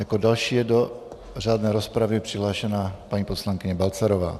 Jako další je do řádné rozpravy přihlášena paní poslankyně Balcarová.